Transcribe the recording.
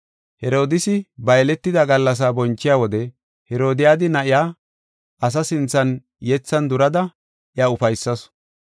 Herodiisi ba yeletida gallasa bonchiya wode, Herodiyada na7iya asaa sinthan yethan durada iya ufaysasu.